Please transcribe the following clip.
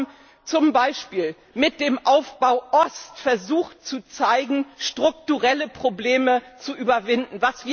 Wir haben zum Beispiel mit dem Aufbau Ost versucht, strukturelle Probleme zu überwinden.